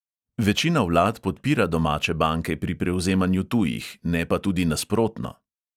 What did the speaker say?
Večina vlad podpira domače banke pri prevzemanju tujih, ne pa tudi nasprotno.